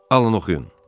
Alın oxuyun.